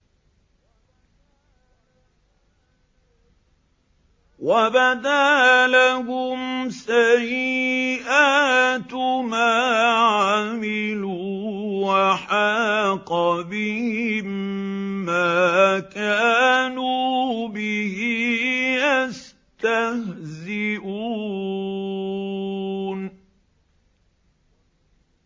وَبَدَا لَهُمْ سَيِّئَاتُ مَا عَمِلُوا وَحَاقَ بِهِم مَّا كَانُوا بِهِ يَسْتَهْزِئُونَ